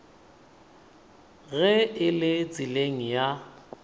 ge e le tseleng ya